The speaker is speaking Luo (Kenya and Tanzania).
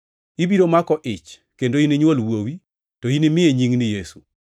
Ibiro mako ich kendo ininywol wuowi, to inimiye nying ni Yesu.